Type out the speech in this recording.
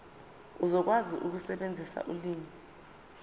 uzokwazi ukusebenzisa ulimi